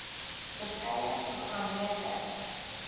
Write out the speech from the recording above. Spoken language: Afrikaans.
verskeie programme ter